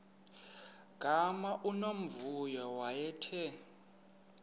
gama unomvuyo wayethe